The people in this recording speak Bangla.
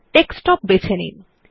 ডেস্কটপ বেছে নিন